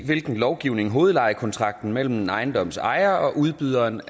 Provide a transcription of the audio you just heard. hvilken lovgivning hovedlejekontrakten mellem ejendomsejeren og udbyderen